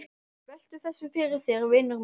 Veltu þessu fyrir þér, vinur minn.